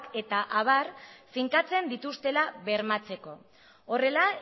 eta abar finkatzen dituztela bermatzeko horrela